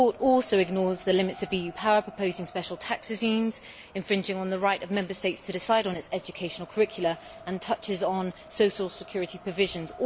The report also ignores the limits of EU power by proposing special tax regimes and impinging on the right of Member States to decide on their educational curricula, and touches on social security provisions.